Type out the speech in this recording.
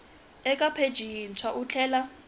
eka pheji yintshwa u tlhela